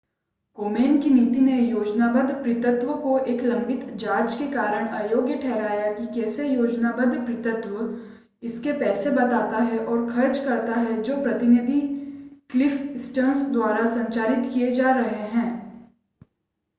कोमेन की नीति ने योजनाबद्ध पितृत्व को एक लंबित जांच के कारण अयोग्य ठहराया कि कैसे योजनाबद्ध पितृत्व इसके पैसे बताता है और खर्च करता है जो प्रतिनिधि क्लिफ़ स्टर्न्स द्वारा संचालित किए जा रहे हैं